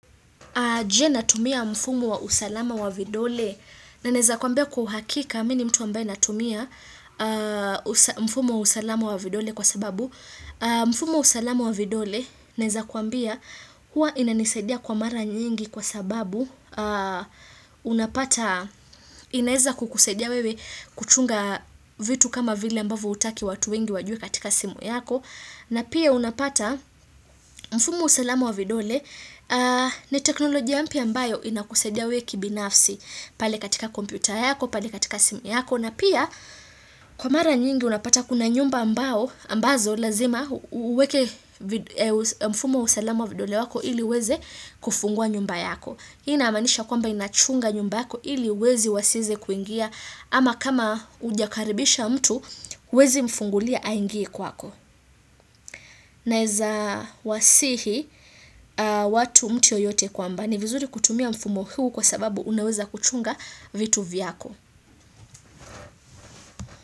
Je natumia mfumo wa usalama wa vidole, na naeza kuambia kwa uhakika, mi ni mtu ambaye natumia mfumu wa usalama wa vidole kwa sababu, mfumu wa usalama wa vidole, naeza kuambia, huwa inanisadia kwa mara nyingi kwa sababu, unapata inaeza kukusadia wewe kuchunga vitu kama vile ambavyo hutaki watu wengi wajue katika simu yako, na pia unapata mfumo wa usalama wa vidole ni teknolojia mpya mbayo inakusaidia wewe kibinafsi pale katika kompyuta yako, pale katika simu yako. Na pia kwa mara nyingi unapata kuna nyumba ambazo lazima uweke mfumo usalama wa vidole wako ili iweze kufungua nyumba yako. Hii Inaamanisha kwamba inachunga nyumba yako ili wezi wasieze kuingia ama kama hujakaribisha mtu huwezi mfungulia aingie kwako. Naeza wasihi watu mtu yoyote kwamba ni vizuri kutumia mfumo huu kwa sababu unaweza kuchunga vitu vyako.